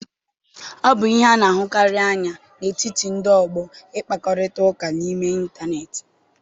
Ọ bụ ihe a na-ahụkarị anya n'etiti ndị ọgbọ ịkpakorịta ụka n'ime ịntanetị.